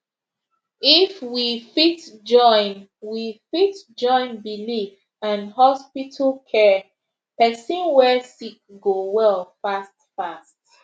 if we fit join we fit join believe and hospital care person way sick go well fast fast